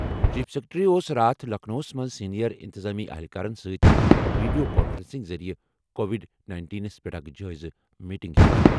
chief secretary اوس راتھ لکھنؤَس منٛز سینئر انتظامی اہلکارَن سٕتۍ ویڈیو کانفرنسنگ ذٔریعہٕ کووڈ نَینٹین پٮ۪ٹھ اکھ جٲیزٕ میٹنگ کران